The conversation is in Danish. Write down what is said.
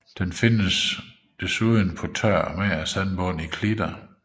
Den findes desuden på tør og mager sandbund i klitter